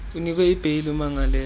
unikwe ibheyile umangalelwe